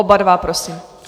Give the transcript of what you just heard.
Oba dva prosím.